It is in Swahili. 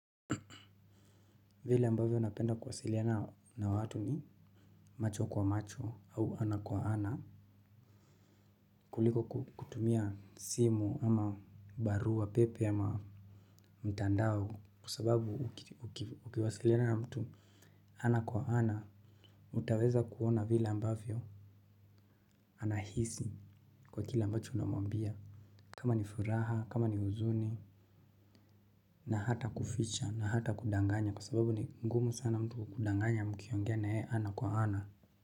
Vile ambavyo napenda kuwasiliana na watu ni macho kwa macho au ana kwa ana kuliko kutumia simu ama barua pepe ama mtandao kwa sababu ukiwasiliana na mtu ana kwa ana. Utaweza kuona vile ambavyo anahisi kwa kile ambacho unamwambia. Kama ni furaha, kama ni huzuni. Na hata kuficha na hata kudanganya kwa sababu ni ngumu sana mtu kukudanganya mkiongea na yeye ana kwa ana.